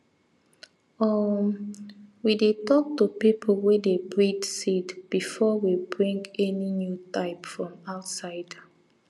um we dey talk to people wey dey breed seed before we bring any new type from outside